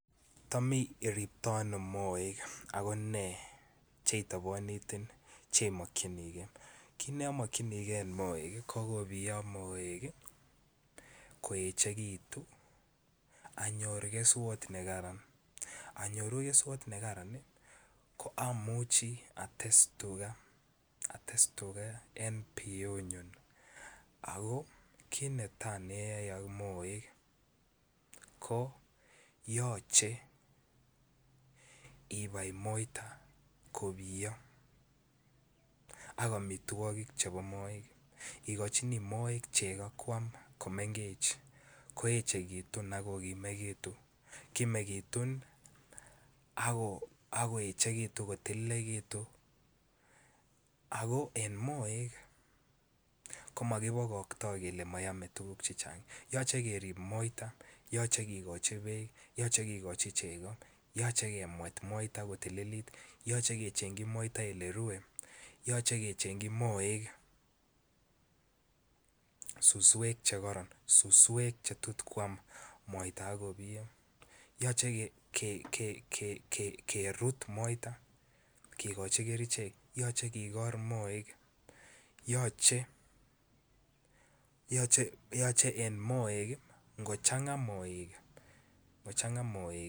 Tam iriptoi ono moek ago nee cheitobonotin cheimokinikei, kit nomokyin gee en moek ii ko kobiyo moek ii koechekitu anyor keswot nekaran anyoru keswot nekaran ii ko amuchi ates tuga en biyunyun ako kit netaa neyoe ak moek ko yoche ibai moita kobiyo ak omitwokik chebo moek. Ogochini moek chego kwam komengech ko echegitun ak kokimetu. Kinekitun ako echekitu kotililekitun ako en moek. Komo kibogokto kelee mooeme tuguk chechang yoche kerib moita yoche kigochi beek yoche kigochi chego yoche kemwet moita kotililit yoche kechengyi moita ole rue yoche kechengyi moek suswek che koron suswek che tot kwam moita ak kobiyo. Yoche ke kerut moita kigochi kerichek yoche kigor moek yoche yoche en moek ii ngo changa moek alak